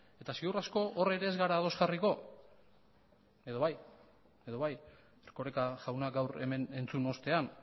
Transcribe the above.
eta ziur asko hor ere ez gara ados jarriko edo bai erkoreka jauna gaur hemen entzun ostean